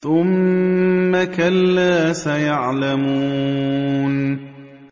ثُمَّ كَلَّا سَيَعْلَمُونَ